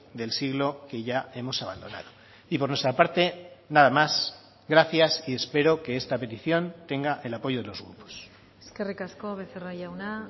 del siglo que ya hemos abandonado y por nuestra parte nada más gracias y espero que esta petición tenga el apoyo de los grupos eskerrik asko becerra jauna